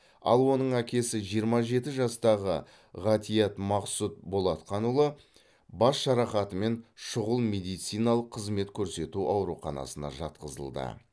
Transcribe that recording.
ал оның әкесі жиырма жеті жастағы ғатиат мақсұт болатқанұлы бас жарақатымен шұғыл медициналық қызмет көрсету ауруханасына жатқызылды